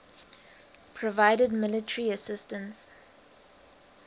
provided military assistance